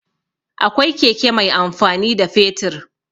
Akwai keke mai amfani da fetur.